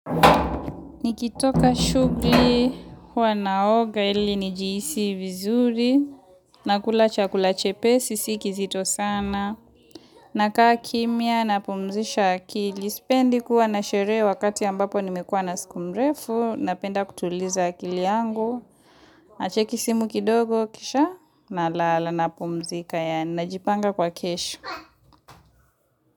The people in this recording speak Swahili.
Ni kitoka shuguli huwa naoga ili nijihisi vizuri nakula chakula chepesi sikizito sana nakaa kimya napumzisha akili sipendi kuwa na shere wakati ambapo nimekuwa na siku mrefu napenda kutuliza akili yangu na cheki dimu kidogo kisha na lala napumzika yani najipanga kwa kesho.